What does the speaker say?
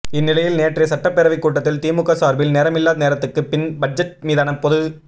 இந்நிலையில் நேற்றைய சட்டப்பேரவைக் கூட்டத்தில் திமுக சார்பில் நேரமில்லா நேரத்துக்குப் பின் பட்ஜெட் மீதான பொது